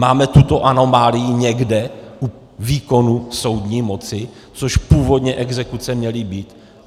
Máme tuto anomálii někde u výkonu soudní moci, což původně exekuce měly být?